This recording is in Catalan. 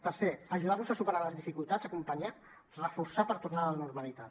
tercer ajudar los a superar les dificultats acompanyar reforçar per tornar a la normalitat